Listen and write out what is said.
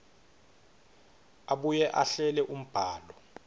abuye ahlele umbhalo